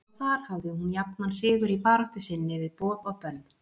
Og þar hafði hún jafnan sigur í baráttu sinni við boð og bönn.